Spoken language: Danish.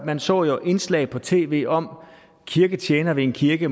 men så jo indslag på tv om kirketjenere ved en kirke